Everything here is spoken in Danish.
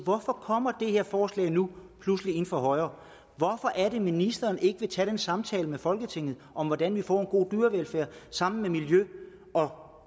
hvorfor kommer det her forslag nu pludselig ind fra højre hvorfor vil ministeren ikke tage den samtale med folketinget om hvordan vi får en god dyrevelfærd sammen med miljø og